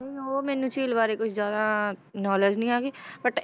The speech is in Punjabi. ਨਹੀਂ ਉਹ ਮੈਨੂੰ ਝੀਲ ਬਾਰੇ ਕੁਛ ਜ਼ਿਆਦਾ knowledge ਨੀ ਹੈਗੀ but